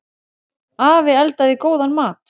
Afi eldaði góðan mat.